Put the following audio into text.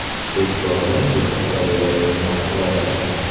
E’tibordan chetda qolayotgan mahallalar.